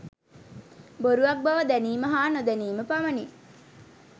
බොරුවක් බව දැනීම හා නොදැනීම පමණි.